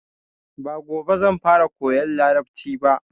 Ba gobe zan fara koyan Larabci ba.